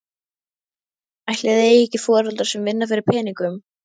Ætli þið eigið ekki foreldra sem vinna fyrir peningum?